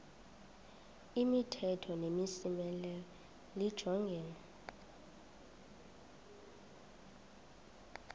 imithetho nemimiselo lijongene